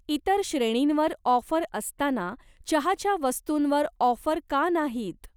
इतर श्रेणींवर ऑफर असताना चहाच्या वस्तूंवर ऑफर का नाहीत?